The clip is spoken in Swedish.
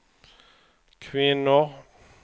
kvinnor